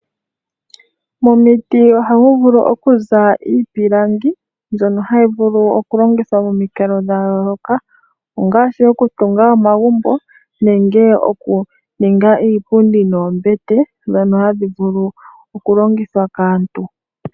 Momiti ohamu vulu okuza iipilangi mbyono hayi vuli okulongitha momikalo dhayooloka ongaashi okutunga omagumbo nenge okuninga iipundi noombete dhono hadhi vulu okulongithwa kaantu.